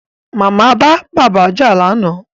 Màmá bá bàbá jà lánàá